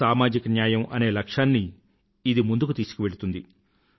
సామాజిక న్యాయం అనే లక్ష్యాన్ని ఇది ముందుకు తీసుకువెళుతుంది